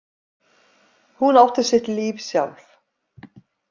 Hún átti sitt líf sjálf.